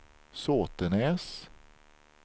Såtenäs